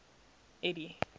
eddie